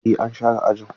Eh an share ajin.